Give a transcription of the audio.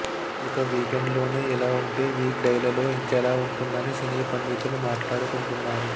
ఇక వీకెండ్ లోనే ఇలా ఉంటె వీక్ డైలలో ఇంకెలా ఉంటుందని సినీ పండితులు మాట్లాడుకుంటున్నారు